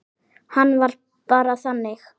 Hann var bara þannig.